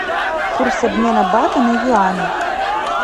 курс обмена бата на юани